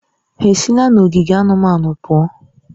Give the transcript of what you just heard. Ha esila n'ogige anụmanụ pụọ?